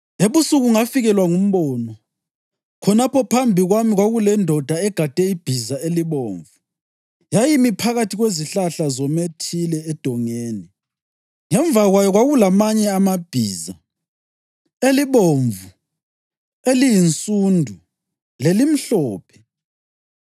Ebusuku ngafikelwa ngumbono, khonapho phambi kwami kwakulendoda egade ibhiza elibomvu! Yayimi phakathi kwezihlahla zomethile edongeni. Ngemva kwayo kwakulamanye amabhiza, elibomvu, eliyinsundu lelimhlophe.